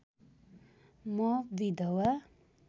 म विधवा